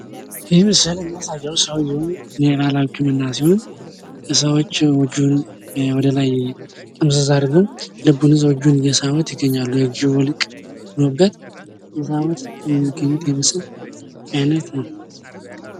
ይህ ምስል የሚያሳየው የባህላዊ ህክምና ሲሆን ሰዎች እጁን ወደ ላይ ጥምዝዝ አድርገው ይዘውት ልቡን ይዘው እጁን እየሳቡት ይታያል። የእጅ ውልቅ የሚስተካከልበት የምስል አይነት ነው ።